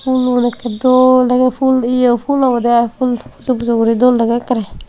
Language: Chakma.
fuluun ekke dol dege ful ye full obode full pujo pujo guri dol dege ekkere.